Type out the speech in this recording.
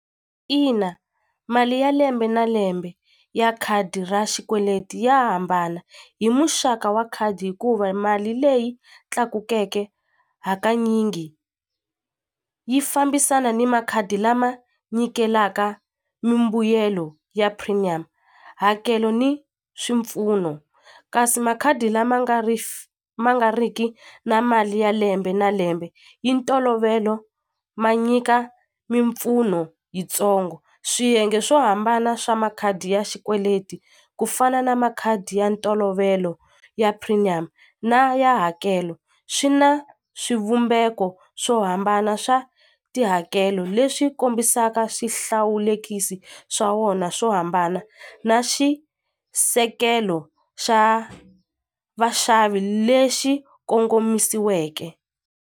Ina mali ya lembe na lembe ya khadi ra xikweleti ya hambana hi muxaka wa khadi hikuva mali leyi tlakukeke hakanyingi yi fambisana ni makhadi lama nyikelaka mimbuyelo ya premium hakelo ni swipfuno kasi makhadi lama nga ri ma nga ri ki na mali ya lembe na lembe yi ntolovelo ma nyika mimpfuno yitsongo swiyenge swo hambana swa makhadi ya xikweleti ku fana na makhadi ya ntolovelo ya premium na ya hakelo swi na swivumbeko swo hambana swa tihakelo leswi kombisaka swihlawulekisi swa wona swo hambana na xisekelo xa vaxavi lexi kongomisiweke.